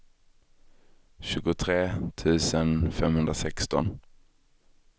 tjugotre tusen femhundrasexton